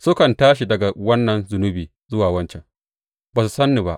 Sukan tashi daga wannan zunubi zuwa wancan; ba su san ni ba,